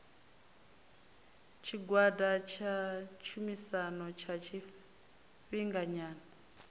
tshigwada tsha tshumisano tsha tshifhinganyana